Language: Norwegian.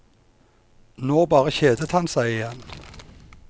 Nå bare kjedet han seg igjen.